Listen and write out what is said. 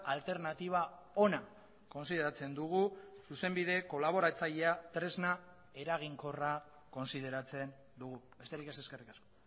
alternatiba ona kontsideratzen dugu zuzenbide kolaboratzailea tresna eraginkorra kontsideratzen dugu besterik ez eskerrik asko